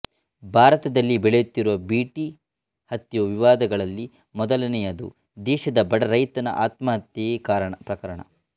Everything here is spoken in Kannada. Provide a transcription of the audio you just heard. ಭಾರತದಲ್ಲಿ ಬೆಳೆಯುತ್ತಿರುವ ಬಿ ಟಿ ಹತ್ತಿಯ ವಿವಾದಗಳಲ್ಲಿ ಮೊದಲನೆಯದು ದೇಶದ ಬಡ ರೈತರ ಆತ್ಮ ಹತ್ಯೆ ಯ ಪ್ರಕರಣ